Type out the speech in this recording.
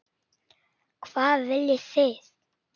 Hvað viljið þið!